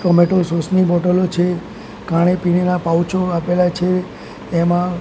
tomato sauce ની બોટલો છે ખાણી પીણીના પાઉચો આપેલા છે એમાં--